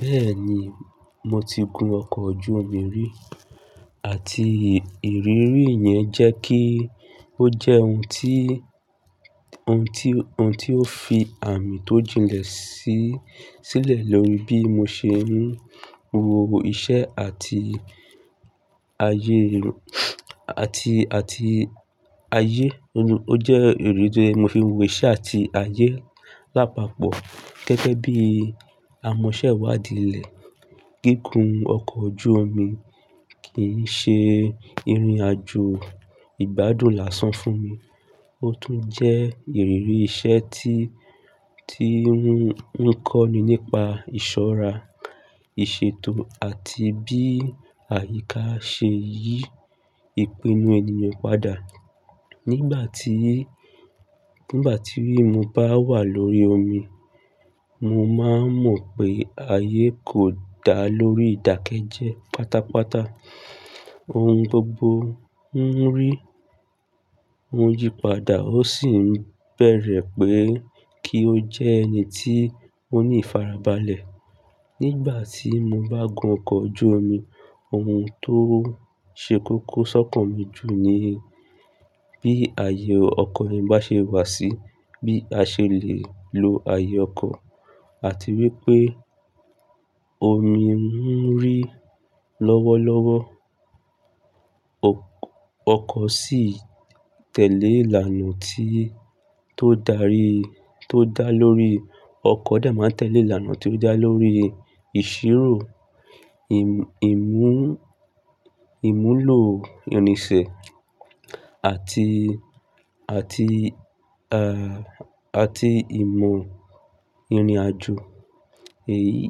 Bẹ́ẹ̀ni, mo ti gun ọkọ̀ ojú omi rí àti ìrírí yẹn jẹ́ kí ó jẹ́ ohun tí, ohun tí, ohun tí ó fi àmì tó jinlẹ̀ sí, sílẹ̀ lórí bí mo ṣe ń wo iṣẹ́ àti ayé, àti, àti ayé. Ó jẹ́ èrò tó fi ń wo iṣẹ́ àti ayé lápapọ̀. Gẹ́gẹ́ bí amọ̀ṣẹ́wàdíìlẹ̀, gígùn ọkọ̀ ojú omi kìí ṣe ìrìnàjò ìgbádùn lásán fún mi. Ó tún jẹ́ ìrírí iṣẹ́ tí, tí ń kọ́ ni nípa ìṣọ́ra, ìṣètò àti bí àyíká ṣe yí ìpinnu ènìyàn padà. Nígbà tí, nígbà tí mo bá wà lórí omi, mo máa ń mọ̀ pé ayé kò dá lórí ìdákẹ́jẹ́ pátápátá. Ohun gbogbo ń rí, ń yípadà ó sì ń bẹ̀rẹ̀ pé kí ó jẹ́ ẹni tí ó ní ìfarabalẹ̀. Nígbà tí mo bá gun ọkọ̀ ojú omi, ohun tó ṣe kókó sọ́kàn mi jù ni bí ayé ọkọ̀ bá ṣe wà sí, bí a ṣe lè lo ayé ọkọ̀ àti wípé omi ń rí lọ́wọ́lọ́wọ́, ọkọ̀ sì tẹ̀lé ìlànà tí tó dá lóri, tó dá lórí, ọkọ̀ dà máa tẹ̀lé ìlànà tí ó dá lórí ìṣirò, ìmú, ìmúlò irinsẹ́ àti, àti, à, àti ìmọ̀ ìrìnàjò. Èyí,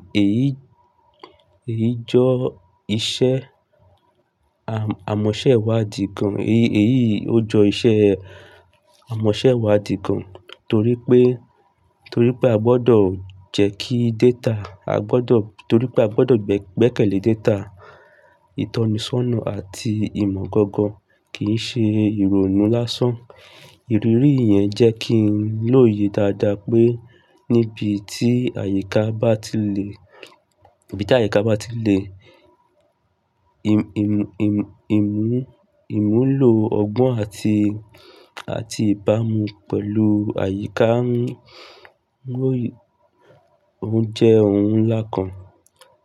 èyí jọ iṣẹ́ amọ̀ṣẹ́wàdí gàn, èyí, èyí ó jọ iṣẹ́ amọ̀ṣẹ́wàdí gàn torí pé, torí pé a gbọdọ̀ jẹ́ kí data, a gbọdọ̀, torí pé a gbọdọ̀ gbẹ́kẹ̀lé data ìtọ́nisọ́nà àti ìmọ̀ gangan kìí ṣe ìrònú lásán. Ìrírí yẹn jẹ́ kí n lóye dáadáa pé níbi tí àyíká bá ti le, níbi tí àyíká bá ti le, ìmú, ìmúlò ọgbọ́n àti, àti ìbámu pẹ̀lú àyíká ń, ń jẹ́ ohun ńlá kan.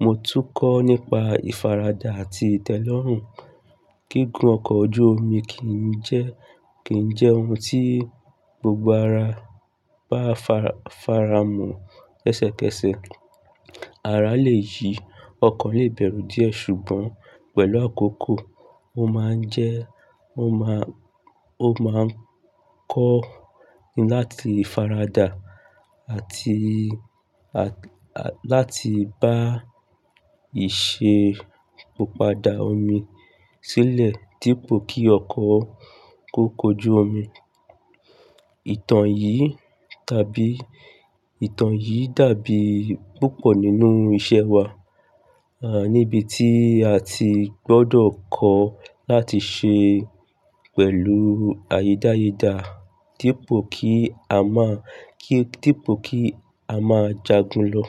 Mo tún kọ́ nípa ìfaradà àti ìtẹ́lọ́rùn. Gígùn ọkọ̀ ojú omi kìí jẹ́, kìí jẹ́ ohun tí gbogbo ara bá faramọ́ kẹ́sẹ̀kẹ́sẹ̀. Ara lè yí, ọkọ̀ lè bẹ̀rù díẹ̀ ṣùgbọ́n pẹ̀lú àkókò, ó máa ń jẹ́, ó máa, ó máa ń kọ́ ni láti faradà àti, àti láti bá ìṣe pàpadà omi sílẹ̀ dípò kí ọkọ̀ kó kojú omi. Ìtàn yìí tàbí, ìtàn yìí dàbí púpọ̀ nínú iṣẹ́ wa, à níbi tí a ti gbọ́dọ̀ kọ́ láti ṣe pẹ̀lú ayédáyédà dípò kí a má, dípò kí a má jagun lọ.